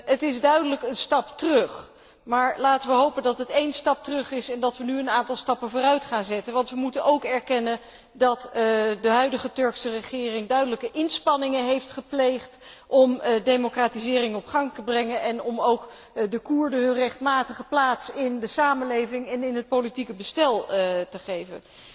Het is duidelijk een stap terug, maar laten we hopen dat het één stap terug is en dat we nu een aantal stappen vooruit gaan zetten, want we moeten ook erkennen dat de huidige Turkse regering duidelijke inspanningen heeft gedaan om de democratisering op gang te brengen en om ook de Koerden hun rechtmatige plaats in de samenleving en in het politieke bestel te geven.